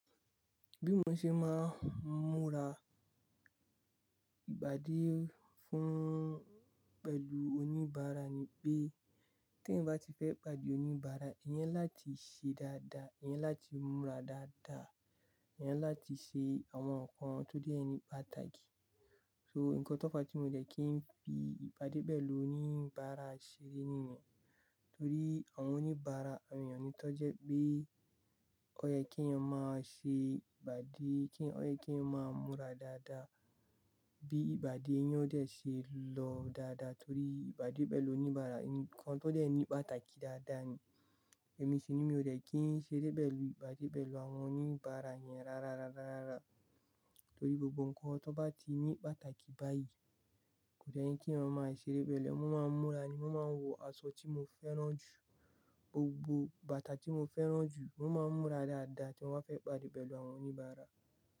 Bí mo ṣe máa ń múra ìpàdé fún pẹ̀lú oníbàárà ni pé, tí ẹ̀eyan bá ti fẹ́ pàdé oníbàárà, eeyan ni láti ṣe dáadáa, eeyan ni láti múra dáadáa, eeyan ni láti ṣe àwọn nǹkan tó dé ni pàtàkì. So, ǹnkan tó fa tí mo dẹ̀ kí n fi ìpàdé pẹ̀lú oníbàárà ṣeré nìyẹn. Torí àwọn oníbàárà awon èèyàn ni tan jẹ́ pé ó yẹ kí n máa ṣe ìpàdé, kí ó yẹ kí n máa múra dáadáa. Bí ìpàdé naa dé ṣe lọ dáadáa torí ìpàdé pẹ̀lú oníbàárà ni ǹnkan tó dé ni pàtàkì dáadáa ni. Ẹ̀mí sì ni mi ò dẹ̀ kí n ṣeré pẹ̀lú ìpàdé pẹ̀lú àwọn oníbàárà yẹn rárá, rárá, rárá. Torí gbogbo ǹnkan tan bá ti ní pàtàkì báyìí kò de ye kí èèyàn máa ṣeré pẹ̀lú ẹ. Wọ́n máa ń múra ni, wọ́n máa ń wọ aṣọ tí mo fẹ́ràn jù. Gbogbo bàtà tí mo fẹ́ràn jù wọ́n máa ń múra dáadáa tí mọ́ o bá fẹ́ pàdé pẹ̀lú àwọn oníbàárà.